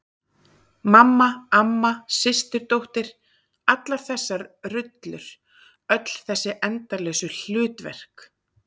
Mamma, amma, systir dóttir- allar þessar rullur, öll þessi endalausu hlutverk.